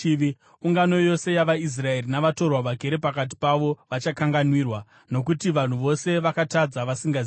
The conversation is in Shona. Ungano yose yavaIsraeri navatorwa vagere pakati pavo vachakanganwirwa, nokuti vanhu vose vakatadza vasingazivi.